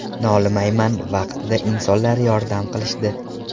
Nolimayman, vaqtida insonlar yordam qilishdi.